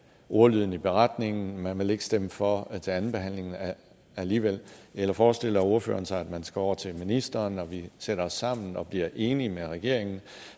ordlyden i beretningen man vil ikke stemme for til andenbehandlingen alligevel eller forestiller ordføreren sig at man skulle over til ministeren og vi sætter os sammen og bliver enige med regeringen